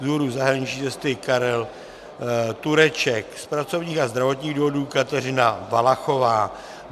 Z důvodu zahraniční cesty Karel Tureček, z pracovních a zdravotních důvodů Kateřina Valachová.